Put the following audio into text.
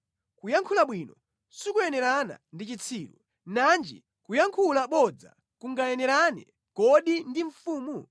Kuyankhula bwino sikuyenerana ndi chitsiru, nanji kuyankhula bodza kungayenerane kodi ndi mfumu?